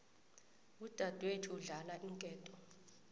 udadwethu udlala iinketo